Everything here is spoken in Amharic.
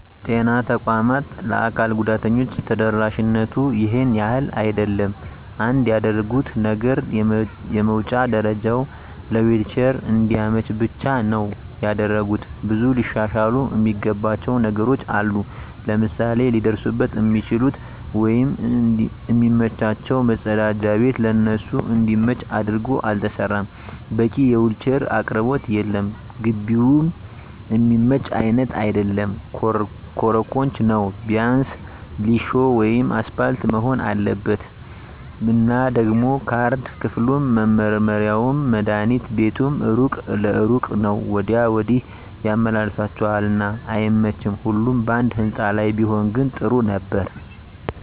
የጤና ተቋማት ለአካል ጉዳተኞች ተደራሽነቱ ይሄን ያህል አይደለም። አንድ ያደረጉት ነገር የመዉጫ ደረጀዉ ለዊልቸር እንዲመች ብቻ ነዉ ያደረጉት። ብዙ ሊሻሻሉ እሚገባቸዉ ነገሮች አሉ፤ ለምሳሌ ሊደርሱበት እሚችሉት ወይም እሚመቻቸዉ መፀዳጃ ቤት ለነሱ እንዲመች አድርጎ አልተሰራም፣ በቂ የዊልቸር አቅርቦት የለም፣ ግቢዉም እሚመች አይነት አይደለም ኮሮኮንች ነዉ ቢያንስ ሊሾ ወይም አሰፓልት መሆን አለበት። እና ደሞ ካርድ ክፍሉም፣ መመርመሪያዉም፣ መድሀኒት ቤቱም እሩቅ ለእሩቅ ነዉ ወዲያ ወዲህ ያመላልሷቸዋል እና አይመቺም ሁሉም ባንድ ህንፃ ላይ ቢሆን ግን ጥሩ ነበር።